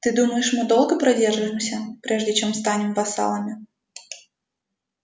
ты думаешь мы долго продержимся прежде чем станем вассалами